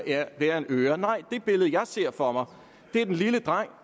hver en øre nej det billede jeg ser for mig er den lille dreng